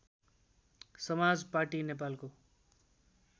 समाज पाटी नेपालको